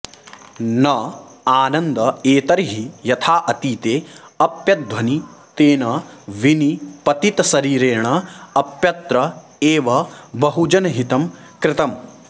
न आनन्द एतर्हि यथा अतीते अप्यध्वनि तेन विनिपतितशरीरेण अप्यत्र एव बहुजनहितं कृतं